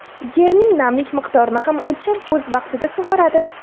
Yerning namlik miqdorini ham o‘lchab, o‘z vaqtida sug‘oradi.